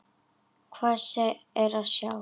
Hvað er að sjá